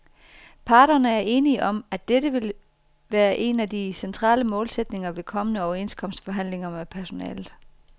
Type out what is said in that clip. Parterne er enige om, at dette vil være en af de centrale målsætninger ved kommende overenskomstforhandlinger med personalet.